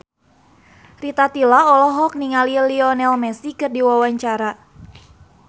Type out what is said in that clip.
Rita Tila olohok ningali Lionel Messi keur diwawancara